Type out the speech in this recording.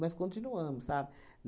Mas continuamos, sabe?